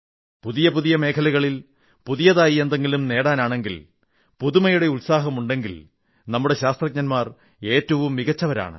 പുതിയ പുതിയ മേഖലകളിൽ പുതിയതായി എന്തെങ്കിലും നേടാനാണെങ്കിൽ പുതുമയുടെ ഉത്സാഹമുണ്ടെങ്കിൽ നമ്മുടെ ശാസ്ത്രജ്ഞർ ഏറ്റവും മികച്ചവരാണ്